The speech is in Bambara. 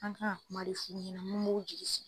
An bi kila ka kuma de f'u ɲɛna mun b'o jigi sigi.